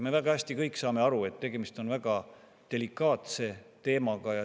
Me kõik saame väga hästi aru, et tegemist on väga delikaatse teemaga.